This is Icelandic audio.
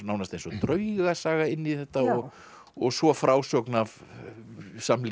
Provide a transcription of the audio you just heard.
nánast eins og draugasaga inn í þetta og og svo frásögn af samlífi